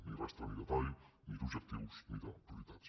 ni rastre ni detall ni d’ob·jectius ni de prioritats